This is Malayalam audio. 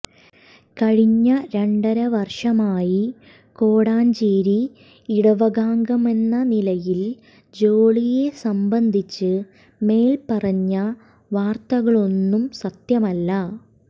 കഴിഞ്ഞ രണ്ടര വർഷമായി കോടഞ്ചേരി ഇടവകാംഗമെന്ന നിലയിൽ ജോളിയെ സംബന്ധിച്ച് മേൽപ്പറഞ്ഞ വാർത്തകളൊന്നും സത്യമല്ല